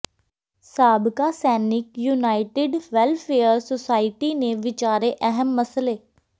ਸਾਬਕਾ ਸੈਨਿਕ united welfare society ਨੇ ਵਿਚਾਰੇ ਅਹਿਮ ਮਸਲੇ